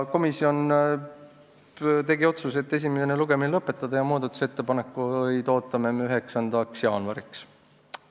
Komisjon tegi otsuse esimene lugemine lõpetada ja muudatusettepanekuid ootame 9. jaanuariks.